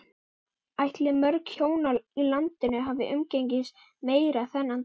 Ætli mörg hjón í landinu hafi umgengist meira þennan dag?